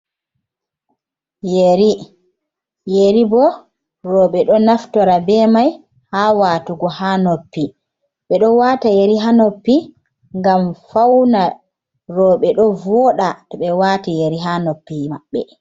Yeri: Yeri bo roɓe ɗo naftora be mai ha watugo ha noppi. Ɓeɗo wata yeri ha noppi ngam fauna roɓe ɗo voɗa to ɓe wati yeri ha noppi maɓɓe.